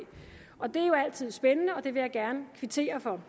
er jo altid spændende og det vil jeg gerne kvittere for